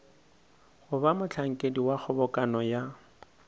goba mohlankedi wa kgobokano ya